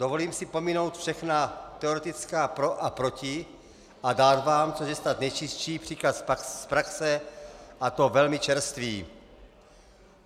Dovolím si pominout všechna teoretická pro a proti a dát vám, což je snad nejčistší, příklad z praxe, a to velmi čerstvý.